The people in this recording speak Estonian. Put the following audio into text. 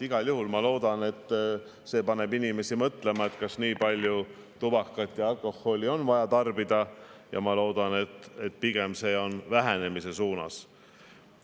Igal juhul ma loodan, et see paneb inimesi mõtlema, kas on vaja nii palju tubakat ja alkoholi tarbida, ja ma loodan, et pigem liigub see vähenemise suunas.